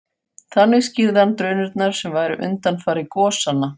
Þannig skýrði hann drunurnar sem væru undanfari gosanna.